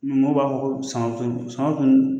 mɔw b'a fɔ ko sama